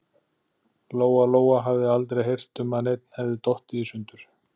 Lóa-Lóa hafði aldrei heyrt um að neinn hefði dottið í sundur.